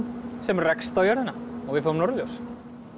sem rekst á jörðina og við fáum norðurljós